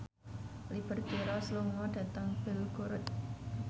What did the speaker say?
Liberty Ross lunga dhateng Belgorod